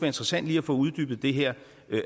interessant lige at få uddybet det her